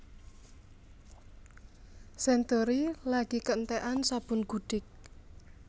Century lagi keentekan sabun gudik